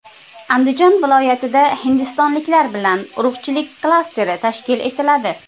Andijon viloyatida hindistonliklar bilan urug‘chilik klasteri tashkil etiladi.